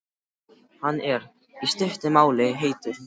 Hann er, í stuttu máli, heitur.